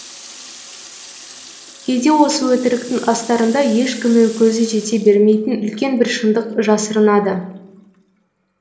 кейде осы өтіріктің астарында ешкімнің көзі жете бермейтін үлкен бір шындық жасырынады